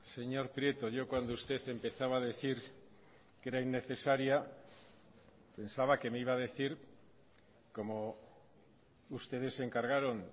señor prieto yo cuando usted empezaba a decir que era innecesaria pensaba que me iba a decir como ustedes se encargaron